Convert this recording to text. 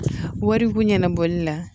Wariko ɲɛnabɔli la